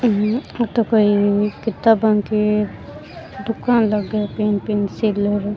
ये तो कोई किताबा की दुकान लागे है पिंक पिंक सी।